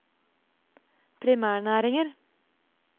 primærnæringer